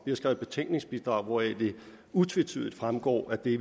vi har skrevet betænkningsbidrag hvoraf det utvetydigt fremgår at vi